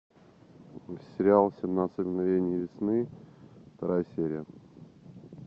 сериал семнадцать мгновений весны вторая серия